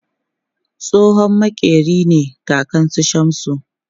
Tsohon maƙeri ne kakan su Shamsu